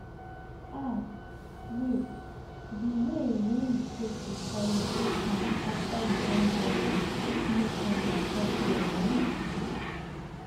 ah wait the way wey you take dey carry your pikin after you don born your am fit make am dey chop well um